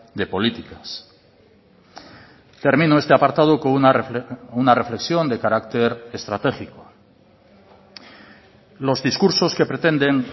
de políticas termino este apartado con una reflexión de carácter estratégico los discursos que pretenden